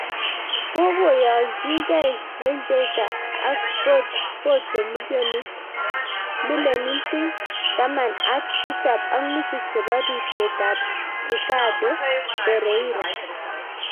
kokoyanjikei Leicester ak Porto milonitik taman ak tisab ak nusu chebo ripset ab Ricardo perreira